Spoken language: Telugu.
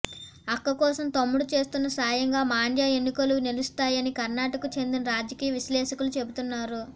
అక్క కోసం తమ్ముడు చేస్తున్న సాయంగా మాండ్య ఎన్నికలు నిలుస్తాయని కర్ణాటకకు చెందిన రాజకీయ విశ్లేషకులు చెబుతున్నారు